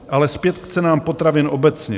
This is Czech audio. Ale zpět k cenám potravin obecně.